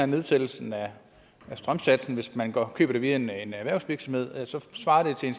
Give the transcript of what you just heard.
nedsættelsen af strømsatsen hvis man køber det via en erhvervsvirksomhed svarer til en